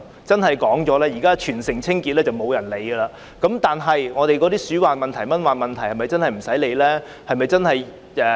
現在沒有甚麼人會關注全城清潔問題，但鼠患和蚊患問題是否真的無須理會呢？